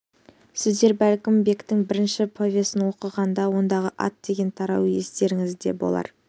сіздер бәлкім бектің бірінші повесін оқығанда ондағы ат деген тарау естеріңізде болар